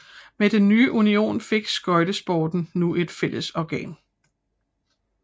Med den nye union fik skøjtesporten nu et fællesorgan